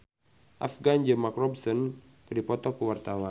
Afgan jeung Mark Ronson keur dipoto ku wartawan